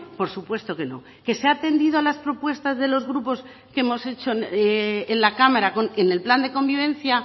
por supuesto que no que se ha atendido a las propuestas de los grupos que hemos hecho en la cámara en el plan de convivencia